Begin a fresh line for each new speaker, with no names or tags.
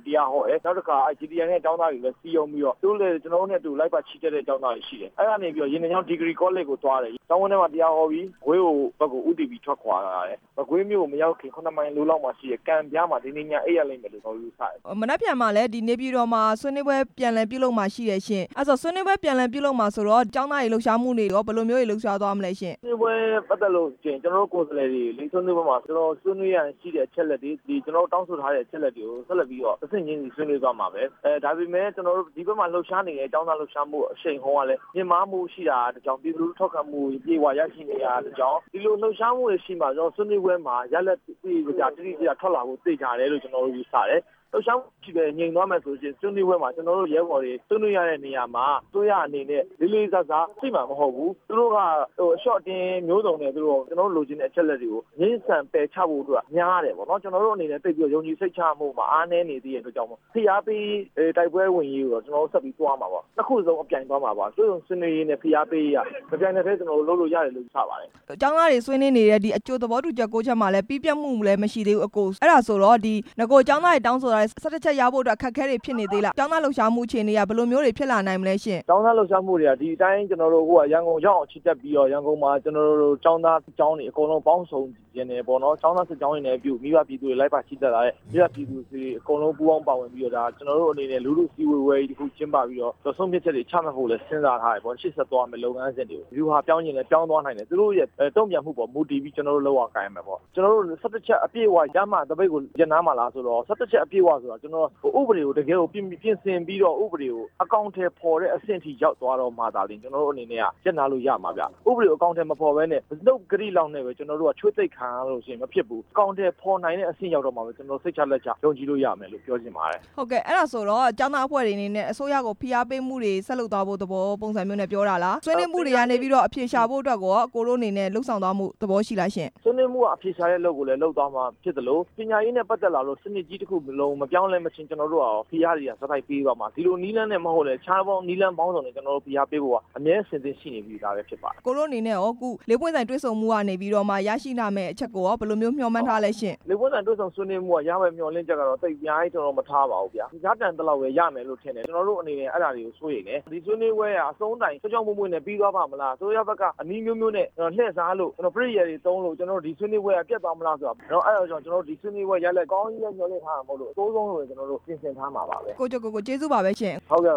တရားဟော တယ်၊ နောက်တစ်ခါ GTI ကကျောင်းသားတွေ စည်းရုံးပြီးတော့ ကျနော်တို့နဲ့လိုက်ပါချီတက်တဲ့ ကျောင်းသားတွေ ရှိတယ်၊ အဲ့ကနေပြီးတော့ ရေနံချောင်း ဒီဂရီကော်လိပ်ကိုသွားတယ်၊ ကောျင်းဝင်းထဲမှာ တရားဟောပြီးမကွေးကို ဦးတည်ပြီးသွားတယ်၊ မကွေးမြို့ကိုမရောက်ခင် ၇ မိုင်အလိုမှာ အိပ်ရလိမ့်မယ် လို့ ယူဆတယ်။
မနက်ဖြန်နေပြည်တော်မှာလဲ ဆွေးနွေးပွဲပြန်လည်ပြုလုပ်မှာ ရှိတယ်ရှင့်၊ ဆွေးနွေးပွဲပြန်လည်ပြုလုပ်မှာဆိုတော့ ကျောင်းသားတွေ လှုပ်ရှားမှုရော ဘယ်လိုတွေရှိလဲရှင့်။
ဆွေးနွေးပွဲနဲ့ပတ်သက်ရင် ကျနော်တို့ကိုယ်စားလှယ်တွေ ဆွေးနွေးပွဲမှာ ဆွေးနွေးရန် ရှိတဲ့အချက်တွေ၊ တောင်းဆိုထားတဲ့ အချက်တွေကို ဆက်လက်ပြီးတော့ ဆွေးနွေးသွားပါမယ်၊ ဒါပေမယ့် ဒီဖက်မှာ ကျနော်တို့ဆင်နွှဲနေတဲ့ သပိတ်အရှိန်ကလဲ တိုးမြှင့်လာတာကြောင့် တစ်ကြောင်း၊ ပြည်သူ့ထောက်ခံမှုကို အပြည့် အဝရရှိနေတာကတစ်ကြောင်း၊ လှုပ်ရှားမှုတွေရှိနေတာကြောင့် ဆွေးနွေးပွဲမှာရလာဒ် တွေ တိတိကျကျ ထွက်လာမှာ သေချာကြောင်းကျနော်တို့ ယူဆတယ်၊ လှုပ်ရှားမှုမရှိပဲ ငြိမ်သွားမယ်ဆိုရင် ဆွေးနွေးပွဲမှာ ကျနော်တို့ရဲဘော်တွေဆွေးနွေးရမယ့်နေရာမှာ အစိုးရအနေနဲ့လေးလေးစားစားရှိမှာမဟုတ်ဘူး၊ သူတို့ကအလျော့အတင်းမျိုးစုံနဲ့ ကျနော်တို့လိုချင်တဲ့အချက်အလက်တွေကို ပယ်ချဖို့များတယ်ပေါ့နော်၊ ကျနော်တို့အနေ နဲ့ ယုံကြည်စိတ်ချရတဲ့အပိုင်းမှာ အားနည်းနေသေးလို့ ဖိအားပေးတိုက်ပွဲဝင်ရေးကို ကျနော်တို့ဆက်ပြီးသွားမှာပါ၊ ၂ ခုကိုကျနော်တို့ အပြိုင်သွားမှာပါ၊ တွေ့ဆုံဆွေးနွေးရေးနဲ့ ဖိအားပေးရေးဟာ တပြိုင်နက်တည်း လုပ်လို့ရတယ်လို့ယူဆပါတယ်။
ကျောင်းသားတွေဆွေးနွေးနေတဲ့ အကြိုသဘောတူညီမှု ၉ ချက်မှာလဲပြီးစီးမှုမရှိသေးဘူး၊ အဲ့လိုဆိုတော့ ၁၁ ချက်ရဖို့အခက် အခဲတွေဖြစ်လာ နိုင်လား၊ ကျောင်းသားတွေလှုပ်ရှားမှုရော ဘယ်လိုရှိနိုင်မလဲရှင့်။
ကျောင်းသားလှုပ်ရှားမှုတွေက ဒီတိုင်းရန်ကုန်ရောက်အောင် ချီတက် ပြီးတော့ ရန်ကုန်မှာကျောင်းသားတွေပေါင်းဆုံချင် တယ်ပေါ့နော်၊ မိဘ ပြည်သူတွေ ပူးပေါင်းပါဝင်တဲ့ လူထုစည်းဝေးပွဲကြီးကျင်းပပြီးတော့ ဆုံးဖြတ်ချက် တွေချမှတ်ဖို့လဲ စဉ်းစားထားတယ်၊ ရှေ့ဆက်သွား မယ့်လုပ်ငန်းစဉ်တွေ ဗျူဟာပြောင်းလဲ ပြောင်းသွား နိုင်တယ်၊ တုံ့ပြန်မှုပေါ်မှုတည်ပြီး ကျနော်တို့လုပ်ရ ကိုင်ရမယ်ပေါ့၊ ၁၁ ချက်အပြည့်အဝရမှသပိတ်ကို ရပ်နားမှာ လားဆိုတော့ ဥပဒေကိုပြင်ဆင်ပြီးတော့ ဥပဒေကိုအကောင် အထည်ဖော်တဲ့ထိရောက်သွားမှသာလျှင်ကျနော်တို့အနေနဲ့က ရပ်နားလို့ ရမှာ ဗျ၊ နှုတ်ဂတိလောက်နဲ့ပဲ ကျနော်တို့ကချွေးသိပ်ခံရလို့မဖြစ်ဘူး၊ အကောင်အထည်ဖော် လို့ရမှာသာလျှင် ကျနော်တို့စိတ်ချလက်ချ ယုံကြည်လို့ရမယ် လို့ပြောချင်ပါတယ်။
အဲ့ဒါဆိုတော့ကျောင်းသားတွေ အစိုးရကိုဖိအားပေးမှုတွေ ဆက်လုပ်သွားမယ်ဆိုတဲ့ သဘောပုံစံမျိုး နဲ့ပြောတာလား၊ ဆွေးနွေးပွဲမှု ကနေအဖြေရှာ ဖို့ရော အကိုတို့အနေနဲ့ လုပ်ဆောင်သွားဖို့ရှိလားရှင့်။
ဆွေးနွေးမှုကအဖြေရှာမှုကိုလဲ လုပ်သွားမှာဖြစ်သလို ပညာရေးနဲ့ ပတ်သက်လို့စနစ်ကြီးတစ်ခုလုံးမပြောင်းမလဲချင်း ကျနော်တို့က ဖိအားတွေဆက်တိုက် ပေးသွားမှာပါ၊ တခြားနည်းလမ်းမျိုးစုံနဲ့ ဖိအားပေးဖို့ကျနော်တို့ကအမြဲအဆင်သင့် ရှိနေပြီးသားပဲဖြစ်ပါတယ်။
အကိုတို့အနေနဲ့ရော ၄ ပွင့်ဆိုင်တွေဆုံမှုကနေရရှိလာမယ့် အချက်ကိုရော ဘယ်လိုမျှော်မှန်းထားလဲရှင့်။
၄ ပွင့်ဆိုင်တွေ့ဆုံမှုကနေရရှိလာမယ့်မျှော်လင့်ချက်ကိုတော့ သိပ်အများကြီးမထားပါဘူးဗျာ၊ ရတန်သလောက်ပဲ ရလိမ့်မယ်လို့ ထင်တယ်၊ ကျနော်တို့အနေနဲ့ အဲ့ဒါတွေကိုလဲစိုးရိမ်တယ်၊ ဆွေးနွေးပွဲဟာ ချောချောမောမောနဲ့ ပြီးဆုံးသွားမလား၊ အစိုးရဖက်နည်းအမျိုးမျိုးနဲ့ လှည့်စားလို့ ကျနော်တို့ဒီဆွေးနွေးပွဲဟာ ပျက်သွားမလား၊ အဲ့ဒါကြောင့်ဒီဆွေးနွေးပွဲကို အကောင်းကြီးပဲမျှော်လင့်မထားသလို အဆိုးဆုံးကိုလဲမျှော်လင့်ထားပါတယ်။
ကိုကျော်ကိုကို ကျေးဇူးပါပဲရှင့်။
ဟုတ်က